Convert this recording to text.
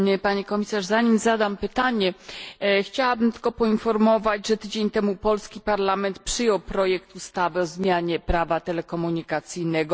Pani Komisarz! Zanim zadam pytanie, chciałabym tylko poinformować, że tydzień temu polski parlament przyjął projekt ustawy o zmianie prawa telekomunikacyjnego.